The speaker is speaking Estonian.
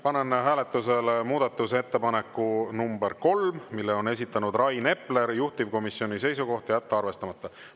Panen hääletusele muudatusettepaneku nr 3, mille on esitanud Rain Epler, juhtivkomisjoni seisukoht: jätta arvestamata.